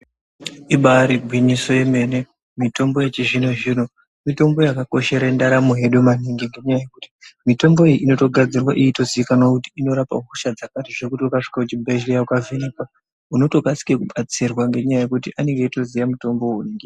Ibairi gwinyiso yemene mitombo yechi zvino zvino mitombo yaka koshere ndaramo yedu maningi ne nyaya yekuti mitombo iyi inoto gadzirwe yeito zikanwa kuti inorapa hosha dzakati zvekuti uka svika ku chibhedhleya uka vhenekwa unoto kasira ku batsirwa nge nyaya yekuti anenge eito ziya mutombo unenge.